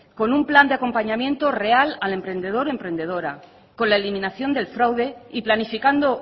con un plan de acompañamiento real al emprendedor o emprendedora con la eliminación del fraude y planificando